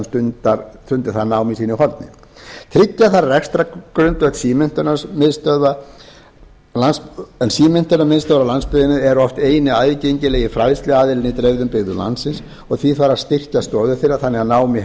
það nám í sínu horni tryggja þarf rekstrargrundvöll en símenntunarmiðstöðvar á landsbyggðinni eru oft eini aðgengilegi fræðsluaðilinn í dreifðum byggðum landsins og því þarf að styrkja stoðir þeirra þannig að nám í